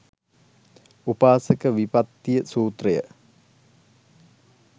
උපාසක විපත්ති සූත්‍රය